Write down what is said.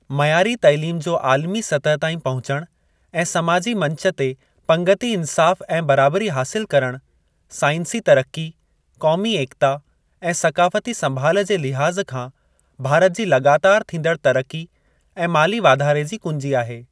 मयारी तइलीम जो आलिमी सतह ताईं पहुचणु ऐं समाजी मंच ते पंगिती इंसाफ़ ऐं बराबरी हासिल करणु, साइंसी तरक़ी, क़ौमी एकता ऐं सक़ाफ़ती संभाल जे लिहाज़ खां भारत जी लॻातारि थींदड़ तरक़ी ऐं माली वाधारे जी कुंजी आहे।